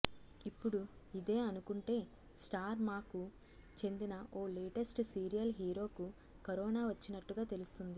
ఇప్పుడు ఇదే అనుకుంటే స్టార్ మా కు చెందిన ఓ లేటెస్ట్ సీరియల్ హీరోకు కరోనా వచ్చినట్టుగా తెలుస్తుంది